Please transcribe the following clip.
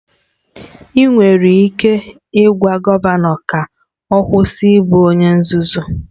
Ị nwere ike ịgwa gọvanọ ka ọ kwụsị ịbụ onye nzuzu?